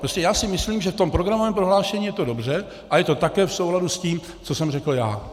Prostě já si myslím, že v tom programovém prohlášení je to dobře a je to také v souladu s tím, co jsem řekl já.